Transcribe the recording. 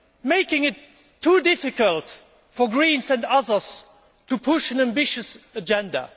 making it too difficult for Greens and others to push an ambitious agenda.